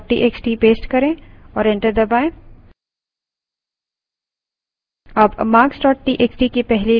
numbers txt marks txt paste करें और enter दबायें